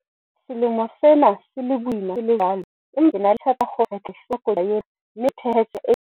Selemo sena se le boima se le jwalo, empa ke na le tshepo ya hore re tla e hlola koduwa ena mme re thehe tsela e yang tsoseletsong.